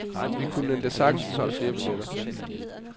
Vi kunne endda sagtens have solgt flere billetter.